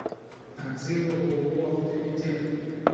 отзывы ооо авторитет